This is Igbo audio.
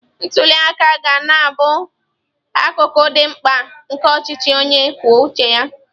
Ntuli aka ga na-abụ akụkụ dị mkpa nke ọchịchị onye kwuo uche ya.